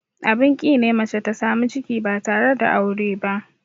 Abin ƙi ne mace ta samu ciki ba tare da aure ba.